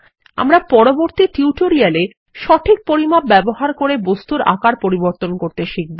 আমরা পরবর্তী টিউটোরিয়াল এ সঠিক পরিমাপ ব্যবহার বস্তুর আকার পরিবর্তন করতে শিখব